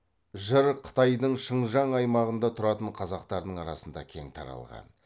жыр қытайдың шыңжаң аймағында тұратын қазақтардың арасында кең таралған